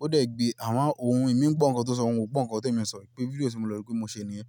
Ó dẹ̀ gbé àwọn ohun, èmi ń gbọ́ ohun tó sọ, òun gbọ́ ohun tó èmi sọ. Ìpè fídíò tí mo lọ rí pé mo ṣe nìyẹn.